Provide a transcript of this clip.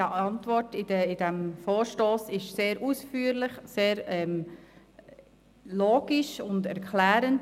Die Antwort zu diesem Vorstoss ist sehr ausführlich, sehr logisch und erklärend.